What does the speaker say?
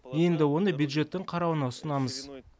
енді оны бюджеттің қарауына ұсынамыз